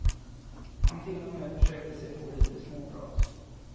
Han till och med försökte sig på lite småprat.